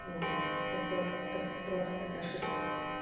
вот это катастрофа это ошибка